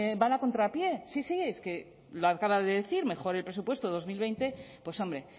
van a contrapié es que lo acaba de decir mejor el presupuesto dos mil veinte pues hombre